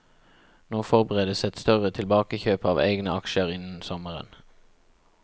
Nå forberedes et større tilbakekjøp av egne aksjer innen sommeren.